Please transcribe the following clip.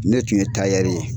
Ne tun ye ye.